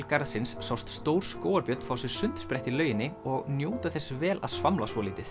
garðsins sást stór skógarbjörn fá sér sundsprett í lauginni og njóta þess vel að svamla svolítið